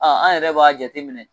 A an yɛrɛ b'a jate minɛ.